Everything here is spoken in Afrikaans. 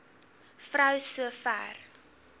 vrou so ver